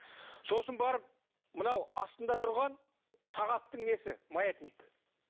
сосын барып мынау астында тұрған сағаттың несі маятник